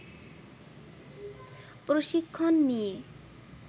প্রশিক্ষণ নিয়ে